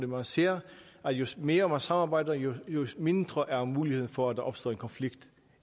man ser at jo mere man samarbejder jo mindre er muligheden for at der opstår en konflikt